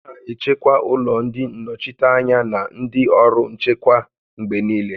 A na-echekwa ụlọ ndị nnọchiteanya na ndị ọrụ nchekwa mgbe niile